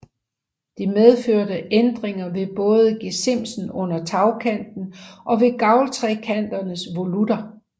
Det medførte ændringer ved både gesimsen under tagkanten og ved gavltrekanternes volutter